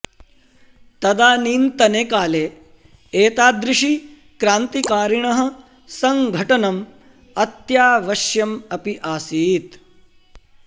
तदानीन्तने काले एतादृशी क्रान्तिकारिणः सङ्घटनम् अत्यावश्यम् अपि आसीत्